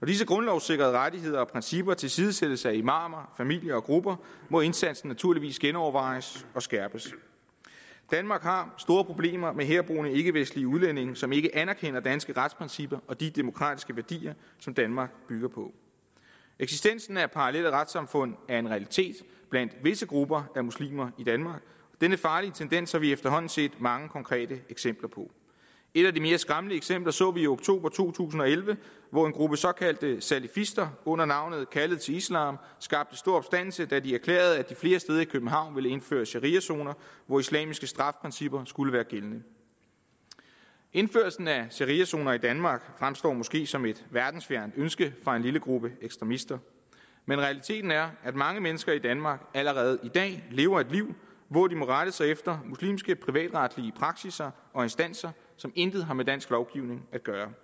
disse grundlovssikrede rettigheder og principper tilsidesættes af imamer familier og grupper må indsatsen naturligvis genovervejes og skærpes danmark har store problemer med herboende ikkevestlige udlændinge som ikke anerkender danske retsprincipper og de demokratiske værdier som danmark bygger på eksistensen af parallelle retssamfund er en realitet blandt visse grupper af muslimer i danmark denne farlige tendens har vi efterhånden set mange konkrete eksempler på et af de mere skræmmende eksempler så vi i oktober to tusind og elleve hvor en gruppe såkaldte salafister under navnet kaldet til islam skabte stor opstandelse da de erklærede at de flere steder i københavn ville indføre shariazoner hvor islamiske straffeprincipper skulle være gældende indførelsen af shariazoner i danmark fremstår måske som et verdensfjernt ønske fra en lille gruppe ekstremister men realiteten er at mange mennesker i danmark allerede i dag lever et liv hvor de må rette sig efter muslimske privatretlige praksisser og instanser som intet har med dansk lovgivning at gøre